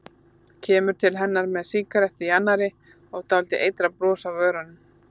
Kemur til hennar með sígarettu í annarri hendi og dálítið eitrað bros á vörunum.